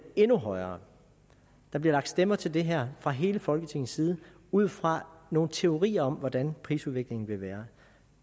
endnu højere der bliver lagt stemmer til det her fra hele folketingets side ud fra nogle teorier om hvordan prisudviklingen vil være